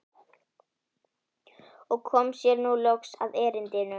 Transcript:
Og kom sér nú loks að erindinu.